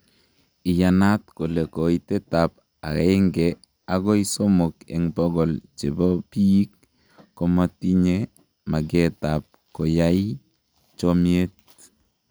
Iyanaat kole koitet ab aenge agoi somok en bogol chebobiik komotinye mageet ab koyaii chomieet.